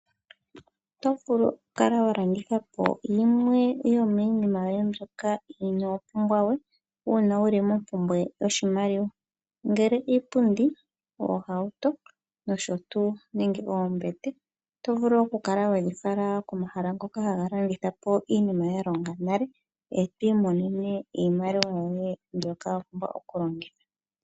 Oto vulu oku kala wa landitha po yimwe yo miinima yoye mbyoka ino pumbwa we una wu li mompumbwe yoshimaliwa, ngele iipundi, ohauto noshotuu nenge oombete oto vulu oku kala wedhi fala komahala ngoka haga landitha po iinima ya longa nale ,eto imonene iimaliwa yoye mbyoka wa pumbwa oku longitha.